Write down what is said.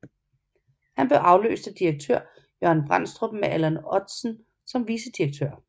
Han blev afløst af direktør Jørgen Brændstrup med Allan Ottsen som vicedirektør